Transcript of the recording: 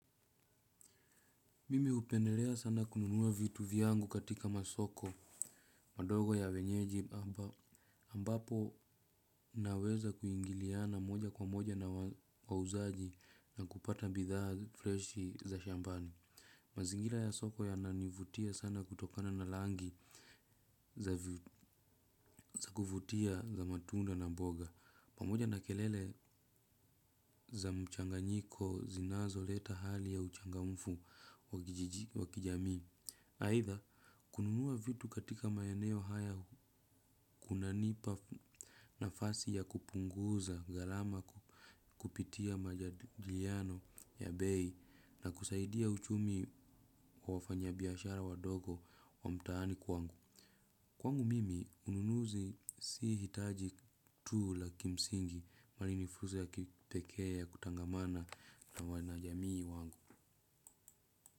Mimi upendelea sana kununuwa vitu vyangu katika masoko madogo ya wenyeji ambapo naweza kuingiliana moja kwa moja na wauzaji na kupata bidhaa freshi za shambani. Mazingira ya soko yananivutia sana kutokana na langi za kuvutia za matunda na mboga. Pamoja na kelele za mchanganyiko zinazo leta hali ya uchangamfu wa kijamii. Aitha, kununuwa vitu katika maeneo haya kuna nipa nafasi ya kupunguza garama kupitia majadiliano ya bei na kusaidia uchumi wa wafanya biashara wadogo wa mtaani kwangu. Kwangu mimi, ununuzi si hitaji tuu la kimsingi bali ni fuza ya kipekee ya kutangamana na wanajamii wangu.